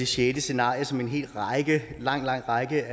sjette scenarie som en lang lang række